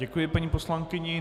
Děkuji paní poslankyni.